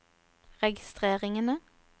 registreringene